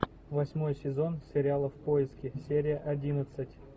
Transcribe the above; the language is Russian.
восьмой сезон сериала в поиске серия одиннадцать